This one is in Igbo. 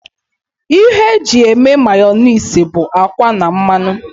Ihe eji eme Mayọnais bụ akwa na mmanụ